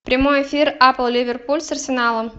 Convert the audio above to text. прямой эфир апл ливерпуль с арсеналом